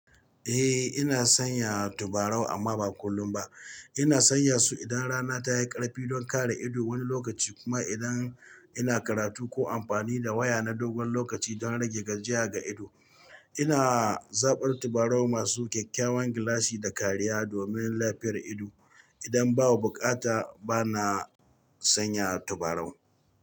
Eh ina sanya tabarau amma ba kullum ba. Ina sanya su idan rana tayi karfi don kare ido wani lokaci kuma idan ina karatu ko amfani da waya na dogon lokaci don rage gajiya ga ido. Ina zabar tabarau masu kyakkyawan gilashi da kariya domin lafiyar ido. Idan babu bukata bana sanya tabarau.